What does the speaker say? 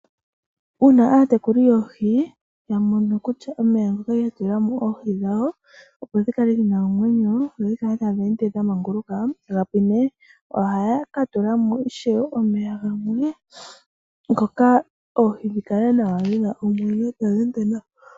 Uuna aatekuli yoohi yamono kutya omeya ngoka ya tulamo oohi dhawo opo dhi kale dhina omwenyo, dho dhi kale ta dhende dha manguluka gapwine, ohaya ka tulamo ishewe omeya gamwe ngoka oohi dhikale nawa dhina omwenyo ta dhende nawa.